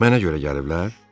Mənə görə gəliblər?